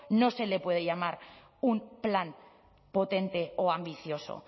no se le puede llamar un plan potente o ambicioso